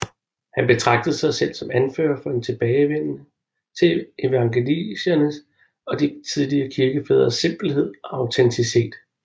Han betragtede sig selv som anfører for en tilbagevenden til evangeliernes og de tidlige kirkefædres simpelhed og autenticitet